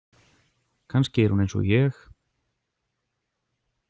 Kannski er hún eins og ég?